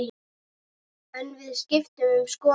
En við skiptum um skoðun.